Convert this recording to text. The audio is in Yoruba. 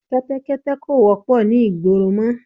Kẹ́tẹ́kẹ́tẹ́ kò wọ́pọ̀ ni ìgboro mọ